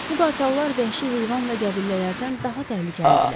Bu qartallar vəhşi heyvan və qəbiləlilərdən daha təhlükəlidirlər.